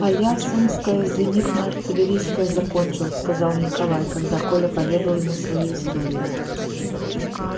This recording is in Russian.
а я сумское зенитно артиллерийское закончил сказал николай когда коля поведал ему свою историю